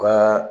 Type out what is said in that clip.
U ka